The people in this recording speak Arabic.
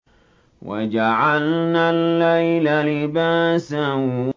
وَجَعَلْنَا اللَّيْلَ لِبَاسًا